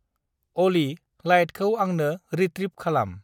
अलि, लाइटखौ आंनो रिट्रिभ खालाम।